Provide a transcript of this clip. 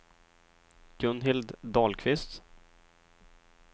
Gunhild Dahlqvist